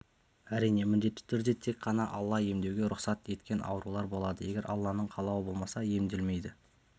әрине міндетті түрде тек қана алла емдеуге рұхсат еткен аурулар болады егер алланың қалауы болмаса емделмейді